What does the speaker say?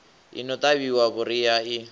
i no ṱavhiwa vhuriha i